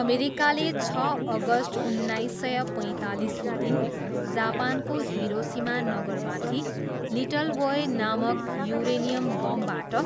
अमेरिकाले छ अगस्ट उन्नाइस सय पैँतालिसको दिन जापानको हिरोसिमा नगरमाथि 'लिटल वोय' नामक युरेनियम बमबाट